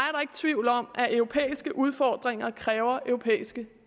tvivl om at europæiske udfordringer kræver europæiske